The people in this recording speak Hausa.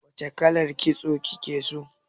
Wace kalar. kitso kike so?